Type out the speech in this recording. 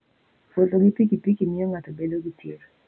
Wuotho gi pikipiki miyo ng'ato bedo gi chir.